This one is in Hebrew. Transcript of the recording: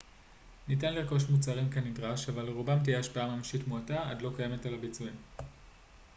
ניתן לרכוש מוצרים כנדרש אבל לרובם תהיה השפעה ממשית מועטה עד לא קיימת על הביצועים